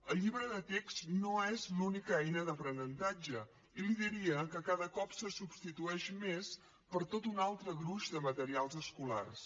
el llibre de text no és l’única eina d’aprenentatge i li diria que cada cop se substitueix més per tot un altre gruix de materials escolars